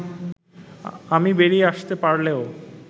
আমি বেরিয়ে আসতে পারলেও